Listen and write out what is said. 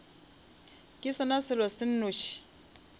ke sona selo se nnoši